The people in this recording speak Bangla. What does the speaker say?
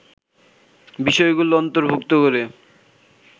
বিষয়গুলো অন্তর্ভুক্ত করে